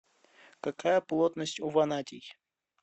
какая плотность у ванадий